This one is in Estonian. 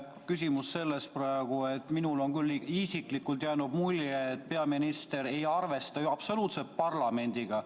Minule isiklikult on küll jäänud mulje, et peaminister ei arvesta absoluutselt parlamendiga.